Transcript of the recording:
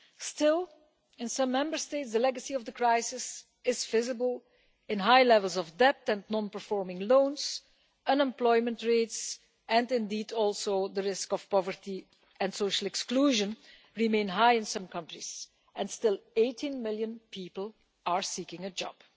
Still, in some Member States the legacy of the crisis is visible in the high levels of debt and non performing loans, and in the unemployment rates. Indeed, also, the risk of poverty and social exclusion remain high in some countries and 18 million people are seeking a job.